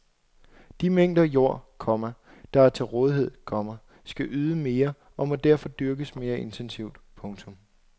De mængder jord, komma der er til rådighed, komma skal yde mere og må derfor dyrkes mere intensivt. punktum